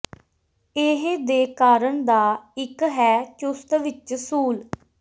ਇਹ ਦੇ ਕਾਰਨ ਦਾ ਇੱਕ ਹੈ ਚੁਸਤ ਵਿਚ ਸੂਲ